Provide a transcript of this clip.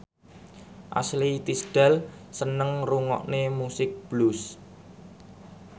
Ashley Tisdale seneng ngrungokne musik blues